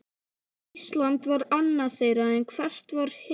Ísland var annað þeirra, en hvert var hitt?